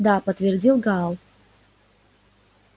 да подтвердил гаал